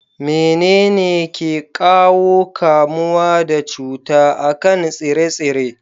Menene ke ƙawo kamuwa da cuta a kan tsire-tsire?